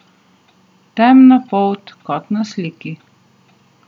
Temna polt, kot na sliki.